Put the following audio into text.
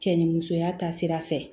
Cɛ ni musoya ta sira fɛ